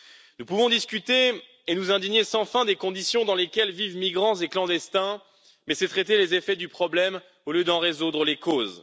Nous pouvons discuter et nous indigner sans fin des conditions dans lesquelles vivent migrants et clandestins, mais c'est traiter les effets du problème au lieu d'en résoudre les causes.